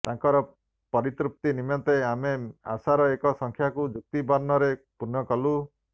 ତାଙ୍କର ପରିତୃପ୍ତି ନିମନ୍ତେ ଆମେ ଆଶାର ଏ ସଂଖ୍ୟାକୁ ଯୁକ୍ତବର୍ଣ୍ଣରେ ପୂର୍ଣ୍ଣକଲୁ